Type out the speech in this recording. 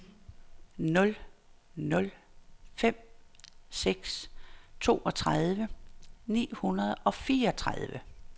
nul nul fem seks toogtredive ni hundrede og fireogtredive